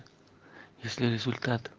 если результат